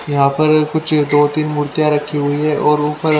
यहां पर कुछ दो तीन मूर्तियां रखी हुई है और ऊपर--